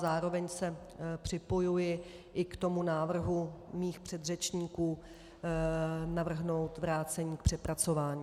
Zároveň se připojuji i k tomu návrhu mých předřečníků navrhnout vrácení k přepracování.